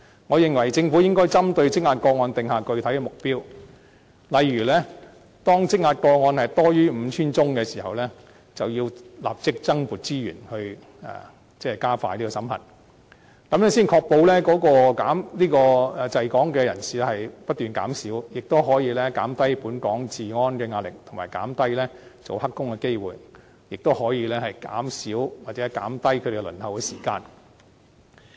我認為政府應該針對積壓的個案訂下具體目標，例如當積壓個案多於 5,000 宗的時候，便要立即增撥資源加快審核程序，這樣才可以確保滯港人士不斷減少，亦可以減低對本港治安構成的壓力，以及減低聲請者做"黑工"的機會，亦可以減少他們的輪候時間。